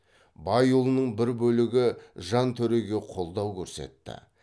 байұлының бір бөлігі жантөреге қолдау көрсетті